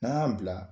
N'an y'an bila